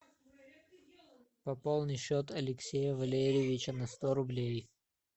пополни счет алексея валерьевича на сто рублей